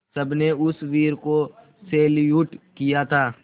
सबने उस वीर को सैल्यूट किया था